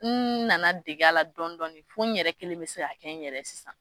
N nana dege la dɔɔn dɔɔni fo n yɛrɛ kelen bɛ se ka kɛ n yɛrɛ ye sisan.